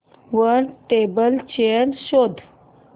वर table chair शोध